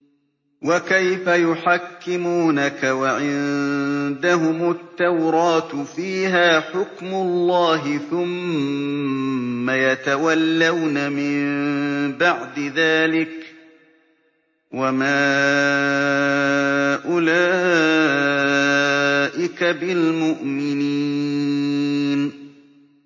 وَكَيْفَ يُحَكِّمُونَكَ وَعِندَهُمُ التَّوْرَاةُ فِيهَا حُكْمُ اللَّهِ ثُمَّ يَتَوَلَّوْنَ مِن بَعْدِ ذَٰلِكَ ۚ وَمَا أُولَٰئِكَ بِالْمُؤْمِنِينَ